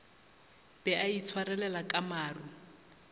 be a itshwarelela ka maru